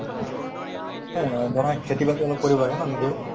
মানে ধৰা খেতি বাতি অলপ কৰিব লাগে ন নিজেও